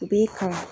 U b'i kalan